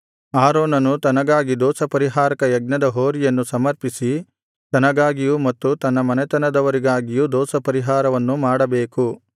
ಆರೋನನು ತನಗಾಗಿ ದೋಷಪರಿಹಾರಕ ಯಜ್ಞದ ಹೋರಿಯನ್ನು ಸಮರ್ಪಿಸಿ ತನಗಾಗಿಯೂ ಮತ್ತು ತನ್ನ ಮನೆತನದವರಿಗಾಗಿಯೂ ದೋಷಪರಿಹಾರವನ್ನು ಮಾಡಬೇಕು